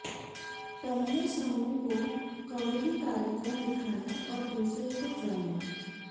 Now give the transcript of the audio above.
पहले समूह को कॉमेडी कार्यक्रम दिखाया और दूसरे को ड्रामा